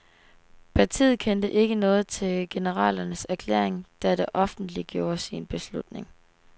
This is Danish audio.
Partiet kendte ikke noget til generalernes erklæring, da det offentliggjorde sin beslutning.